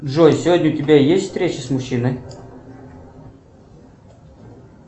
джой сегодня у тебя есть встреча с мужчиной